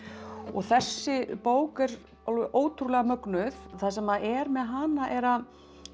þessi bók er alveg ótrúlega mögnuð það sem er með hana er að